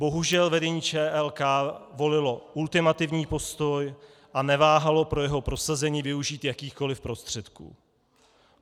Bohužel vedení ČLK volilo ultimativní postoj a neváhalo pro jeho prosazení využít jakýchkoliv prostředků.